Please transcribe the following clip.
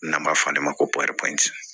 N'an b'a fɔ ale ma ko